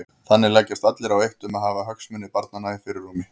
Þannig leggjast allir á eitt um að hafa hagsmuni barnanna í fyrirrúmi.